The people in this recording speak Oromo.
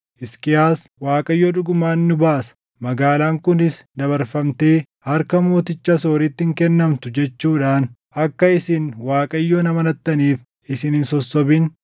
Hisqiyaas, ‘ Waaqayyo dhugumaan nu baasa; magaalaan kunis dabarfamtee harka mooticha Asooritti hin kennamtu’ jechuudhaan akka isin Waaqayyoon amanattaniif isin hin sossobin.